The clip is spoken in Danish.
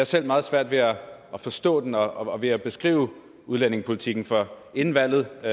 selv meget svært ved at forstå den og ved at beskrive udlændingepolitikken for inden valget